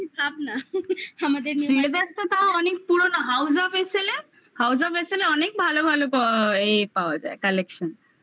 শ্রীলেদার্স তো অনেক পুরনো আমাদের house of sl এর house of sl এ অনেক ভালো ভালো ইয়ে পাওয়া যায় collection